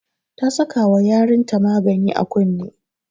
Ta saka wa yarin ta magani a kunne